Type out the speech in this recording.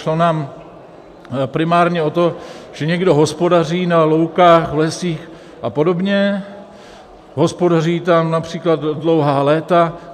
Šlo nám primárně o to, že někdo hospodaří na loukách, v lesích a podobě, hospodaří tam například dlouhá léta.